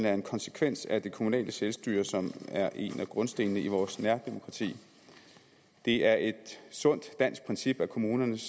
en konsekvens af det kommunale selvstyre som er en af grundstenene i vores nærdemokrati det er et sundt dansk princip at kommunernes